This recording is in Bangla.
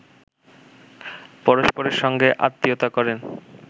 পরস্পরের সঙ্গে আত্মীয়তা করেন